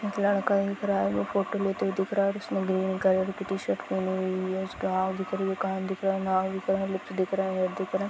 एक लड़का दिख रहा है वो फोटो लेते हुए दिख रहा है और उसने ग्रीन कलर की टी शर्ट पहनी हुई है उसका आंख दिख रही है कान दिख रहा है नाक दिख रहा है लुक दिख रहा है मुंह दिख रहा ।